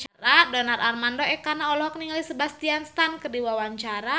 Donar Armando Ekana olohok ningali Sebastian Stan keur diwawancara